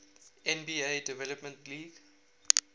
nba development league